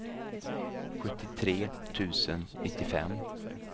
sjuttiotre tusen nittiofem